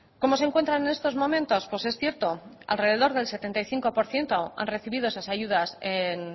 cómo se encuentran en estos momentos pues es cierto alrededor del setenta y cinco por ciento han recibido esas ayudas en